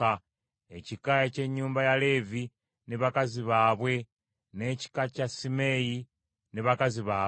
Ekika eky’ennyumba ya Leevi ne bakazi baabwe, n’ekika kya Simeeyi ne bakazi baabwe;